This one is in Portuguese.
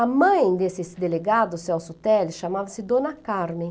A mãe desses delegado, o Celso Teles, chamava-se Dona Carmen.